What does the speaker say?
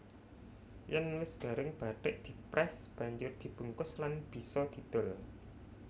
Yèn wis garing bathik diprès banjur dibungkus lan bisa didol